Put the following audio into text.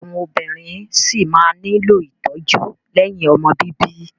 Àwọn obìnrin ṣí máa nílò ìtọ́jú lẹ́yìn ọmọ bíbí.